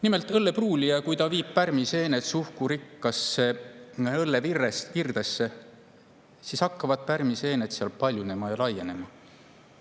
Nimelt, kui õllepruulija viib pärmiseened suhkrurikkasse õllevirdesse, siis hakkavad pärmiseened seal paljunema ja laienema.